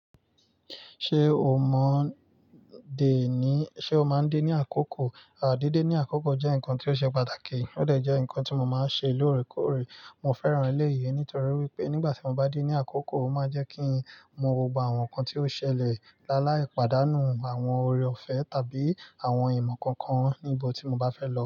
Ṣé o mọ dè ní, ṣe o máa ń dè ní àkókò? À, díde ní àkókò jẹ́ nǹkan tí ó ṣe pàtàkì, ó dẹ̀ jẹ́ nǹkan tí mo máa ń ṣe lóòrèkóòrè. Mo fẹ́ràn ilé yìí nítorí wípé nígbà tí mo bá dé ní àkókò, ó máa jẹ́ kí n mọ gbogbo àwọn nǹkan tí ó ṣẹlẹ̀, láìla ìpàdánù àwọn ore-ọ̀fẹ́ tàbí àwọn ìmọ̀ kankan níbi tí mo bá fẹ́ lọ.